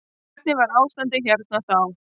Hvernig var ástandið hérna þá.